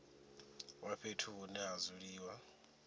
wa fhethu hune ha dzuliwa